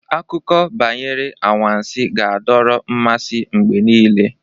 Akụkọ banyere anwansi ga-adọrọ mmasị mgbe niile.